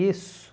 Isso...